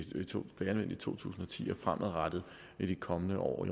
to tusind og ti og fremadrettet i de kommende år og